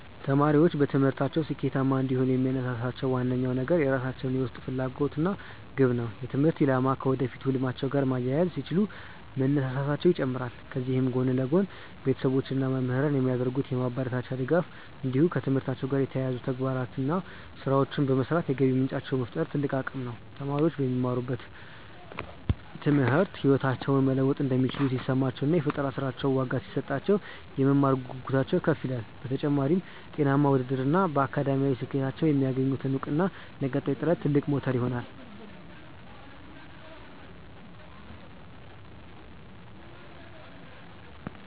ተማሪዎች በትምህርታቸው ስኬታማ እንዲሆኑ የሚያነሳሳቸው ዋነኛው ነገር የራሳቸው የውስጥ ፍላጎት እና ግብ ነው። የትምህርት አላማቸውን ከወደፊት ህልማቸው ጋር ማያያዝ ሲችሉ መነሳሳታቸው ይጨምራል። ከዚህ ጎን ለጎን፣ ቤተሰቦች እና መምህራን የሚያደርጉት የማበረታቻ ድጋፍ እንዲሁም ከትምህርታቸው ጋር የተያያዙ ተግባራዊ ስራዎችን በመስራት የገቢ ምንጭ መፍጠር ትልቅ አቅም ነው። ተማሪዎች በሚማሩት ትምህርት ህይወታቸውን መለወጥ እንደሚችሉ ሲሰማቸው እና የፈጠራ ስራዎቻቸው ዋጋ ሲሰጣቸው፣ የመማር ጉጉታቸው ከፍ ይላል። በተጨማሪም፣ ጤናማ ውድድር እና በአካዳሚክ ስኬታቸው የሚያገኙት እውቅና ለቀጣይ ጥረት ትልቅ ሞተር ይሆናሉ።